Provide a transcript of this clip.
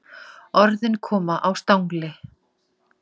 Orðin koma á stangli.